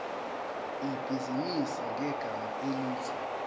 ibhizinisi ngegama elithi